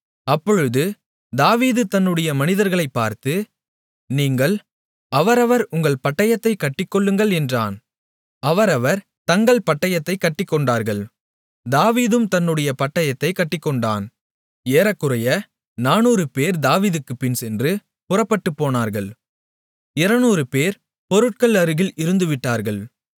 அப்பொழுது தாவீது தன்னுடைய மனிதர்களை பார்த்து நீங்கள் அவரவர் உங்கள் பட்டயத்தைக் கட்டிக்கொள்ளுங்கள் என்றான் அவரவர் தங்கள் பட்டயத்தைக் கட்டிக்கொண்டார்கள் தாவீதும் தன்னுடைய பட்டயத்தைக் கட்டிக்கொண்டான் ஏறக்குறைய 400 பேர் தாவீதுக்குப் பின்சென்று புறப்பட்டுப்போனார்கள் 200 பேர் பொருட்கள் அருகில் இருந்து விட்டார்கள்